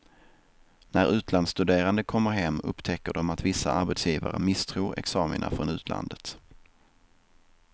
När utlandsstuderande kommer hem upptäcker de att vissa arbetsgivare misstror examina från utlandet.